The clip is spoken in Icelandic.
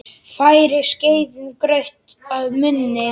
Færir skeiðin graut að munni.